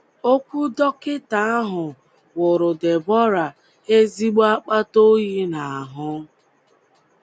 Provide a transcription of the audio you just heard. Okwu dọkịta ahụ wụrụ Deborah ezigbo akpata oyi n’ahụ́.